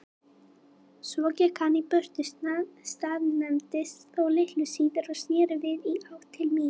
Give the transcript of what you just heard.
Svo gekk hann burtu, staðnæmdist þó litlu síðar og sneri við í átt til mín.